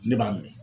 Ne b'a minɛ